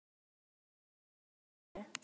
Magnús: Þannig að peysan er til sölu?